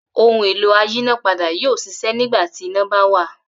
Ohun-èlò ayínápadà yóò ṣiṣẹ́ nígbà tí iná bá wà.